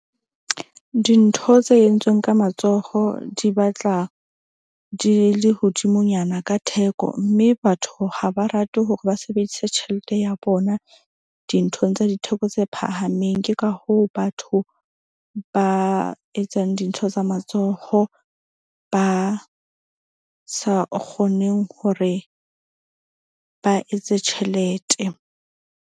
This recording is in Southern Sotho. Dintho tse entsweng ka matsoho di batla di le hodimonyana ka theko. Mme batho ha ba rate hore ba sebedise tjhelete ya bona dinthong tsa ditheko tse phahameng. Ke ka hoo batho ba etsang dintho tsa matsoho ba sa kgoneng hore ba etse tjhelete.